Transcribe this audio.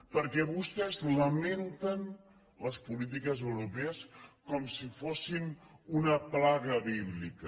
perquè vostès lamenten les polítiques europees com si fossin una plaga bíblica